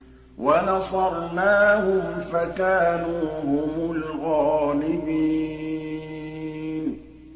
وَنَصَرْنَاهُمْ فَكَانُوا هُمُ الْغَالِبِينَ